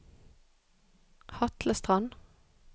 Hatlestrand